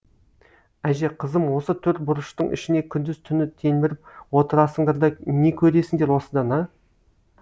әже қызым осы төрт бұрыштың ішіне күндіз түні телміріп отырасыңдар да не көресіңдер осыдан а